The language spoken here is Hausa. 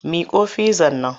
Miƙo fizzar nan!